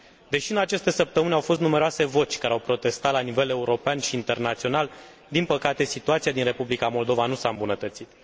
Deși în aceste săptămâni au fost numeroase voci care au protestat la nivel european și internațional, din păcate situația din Republica Moldova nu s a îmbunătățit.